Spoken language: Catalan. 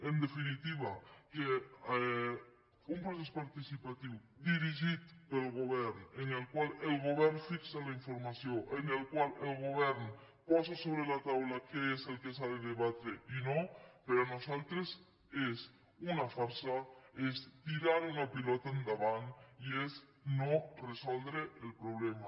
en definitiva un procés participatiu dirigit pel govern en el qual el govern fixa la informació en el qual el govern posa sobre la taula què és el que s’ha de debatre i no per nosaltres és una farsa és tirar una pilota endavant i és no resoldre el problema